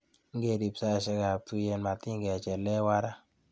Ngerib saishekab tuiyet, matikechelewan ra.